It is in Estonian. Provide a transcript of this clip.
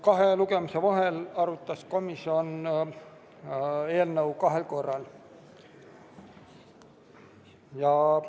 Kahe lugemise vahel arutas komisjon eelnõu kahel korral.